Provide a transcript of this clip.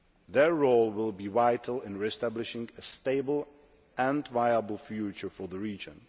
Their role will be vital in re establishing a stable and viable future for the region.